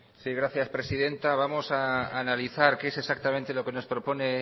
sí gracias presidenta vamos a analizar qué es exactamente lo que nos propone